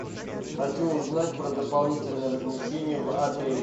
хочу узнать про дополнительное размещение в отеле